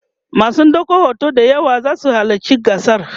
masu ɗaukan hoto d yawa zasu halatci gasar